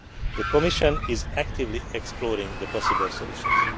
set. The Commission is actively exploring the possible solutions.